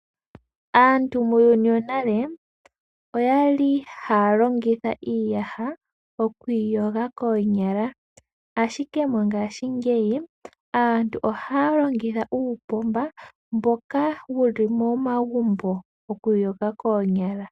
Aantu muuyuni wonale haya longitha iiyaha okwiiyoga koonyala ashike mongaashingeyi aantu ohaya longitha uupomba mboka wuli momagumbo okwiiyoga koonyala.